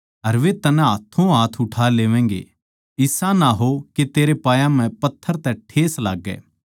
अर वे तन्नै हाथोंहाथ उठा लेवैगें इसा ना हो के तेरे पांयां म्ह पत्थर तै ठेस लाग्गै